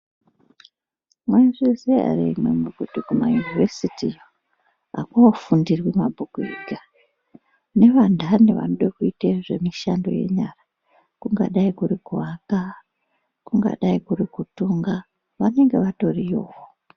Mwaizviziya ere imwimwi kuti kumaInivhesiti akoofundirwi mabhuku ega, nevandandi vanode kuite zvemishando yenyara, kungadai kuri kuaka, kungadai kuri vatonga, vanenge vatorikowo.